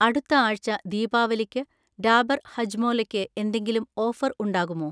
അടുത്ത ആഴ്ച ദീപാവലിക്ക് ഡാബർ ഹജ്മോലക്ക് എന്തെങ്കിലും ഓഫർ ഉണ്ടാകുമോ?